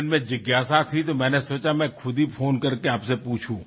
মোৰ মনত এটা জিজ্ঞাসাৰ সৃষ্টি হল আৰু ভাবিলো যে মই নিজেই আপোনাৰ সৈতে ফোন কৰি সোধো